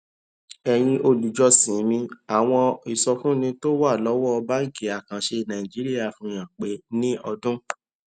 èyin olùjọsìn mi àwọn ìsọfúnni tó wà lọwọ báńkì àkànṣe nàìjíríà fi hàn pé ní ọdún